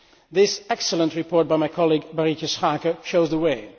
This excellent report by my colleague Ms Schaake shows the way.